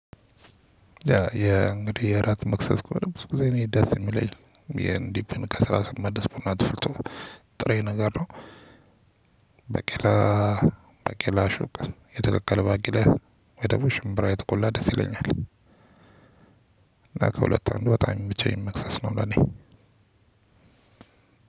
ያ የእንግዲህ የእራት መክሰስ ከሆነ ብዙ ጊዜ እኔ ደስ የሚለኝ የኢንዲፒን ከስራ ስትመለስ ብሎ ተፍልቶ ጥሬ ነገር ነው። ባቂላ ባቄላ አሹቅ የተቀቀለ ባቄላ ወይ ደግሞ ሽምብራ የተቆላ ደስ ይለኛል። እና ከሁለት አንድ በጣም ብቻ የሚመቸኝ መክሰስ ነው። ለኔ